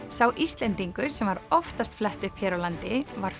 sá Íslendingur sem var oftast flett upp hér á landi var